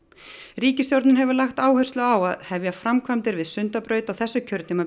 ríkisstjórnin hefur lagt áherslu á að hefja framkvæmdir við Sundabraut á þessu kjörtímabili